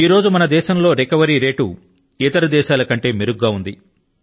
ఈ రోజు న మన దేశంలో రోగనివృత్తి సూచి ఇతర దేశాల కంటే మెరుగ్గా ఉంది